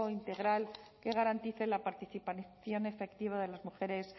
integral que garantice la participación efectiva de las mujeres